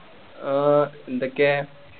ആ എന്തൊക്കെയാ